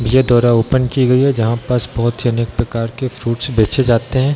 ये द्वारा ओपन की गई है जहाँ पास बहुत ही अनेक प्रकार के फ्रूट्स बेचे जाते हैं।